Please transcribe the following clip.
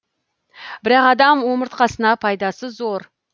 бірақ адам омыртқасына пайдасы зор